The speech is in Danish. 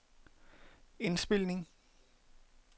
indspilning